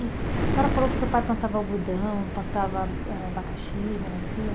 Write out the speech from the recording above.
E a senhora falou que o seu pai plantava algodão, plantava âh abacaxi, melancia.